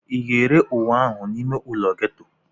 Ị ga-ere uwe ahụ n'ime ụlọ ghetto?